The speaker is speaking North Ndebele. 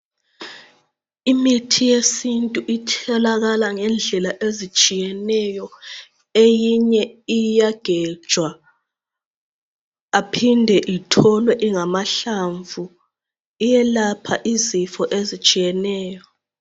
imithi yesintu itholakala ngendlela ezitshiyeneyo, eyinye iyagejwa aphinde itholwe ingamahlamvu iyelapha izifo ezitshiyeneyo